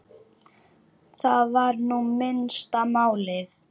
Það var nú minnsta málið.